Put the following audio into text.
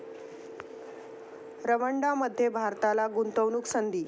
रंवांडांमध्ये भारताला गुंतवणूकसंधी